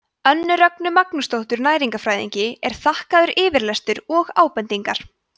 önnu rögnu magnúsardóttur næringarfræðingi er þakkaður yfirlestur og ábendingar